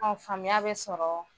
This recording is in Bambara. A faamuya bɛ sɔrɔ